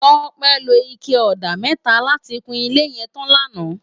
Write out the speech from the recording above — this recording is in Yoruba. Tope ló iké òdá mètá làtí kún ilé yèn tán làná